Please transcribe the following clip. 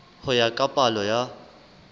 ho ya ka palo ya